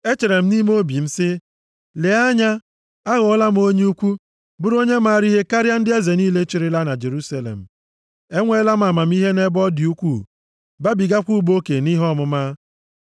Echere m nʼime obi m sị, “Lee anya! Aghọọla m onye ukwu, bụrụ onye maara ihe karịa ndị eze niile chịrịla na Jerusalem. Enweela m amamihe nʼebe ọ dị ukwu, babigakwa ụba oke nʼihe ọmụma.”